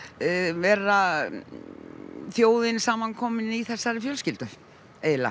vera þjóðin samankomin í þessari fjölskyldu eiginlega